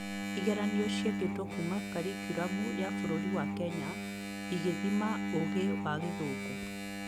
Kĩgeranio ciekĩĩtwo kuuma Karikiramu ya bũrũri wa Kenya ĩgĩthima ũgĩ wa gĩthũngũ